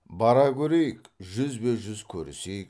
бара көрейік жүзбе жүз көрісейік